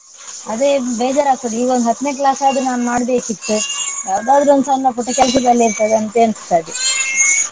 ಅದೇ ಬೇಜಾರಾಗ್ತದೆ ಈವಾಗ ಹತ್ನೇ class ಆದ್ರು ನಾನ್ ಮಾಡ್ಬೇಕಿತ್ತು ಯಾವುದಾದ್ರೊಂದು ಸಣ್ಣ ಪುಟ್ಟ ಕೆಲಸದಲ್ಲಿರ್ತಿದ್ದೆ ಅಂತ ಎನ್ಸ್ತದೆ.